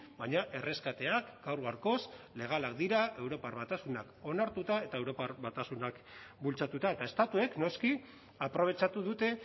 baina erreskateak gaur gaurkoz legalak dira europar batasunak onartuta eta europar batasunak bultzatuta eta estatuek noski aprobetxatu dute